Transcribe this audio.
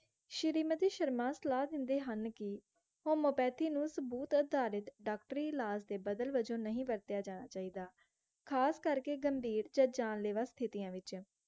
ਸ਼੍ਰੀਮਤੀ ਸ਼ਰਮਾ ਸਲਾਹ ਦਿੰਦੇ ਹਨ ਕਿ homeopathy ਨੂੰ ਸਬੂਤ ਅਰਧਾਰਿਤ ਡਾਕਟਰੀ ਇਲਾਜ ਦੇ ਬਦਲ ਵਜੋਂ ਨਹੀਂ ਵਰਤਿਆ ਜਾ ਚਾਹੀਦਾ ਖਾਸ ਕਰਕੇ ਗੰਭੀਰ ਤੇ ਜਾਨਲੇਵਾ ਸਥਿਤੀਆਂ ਵਿਚ